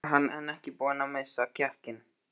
Og samt var hann enn ekki búinn að missa kjarkinn.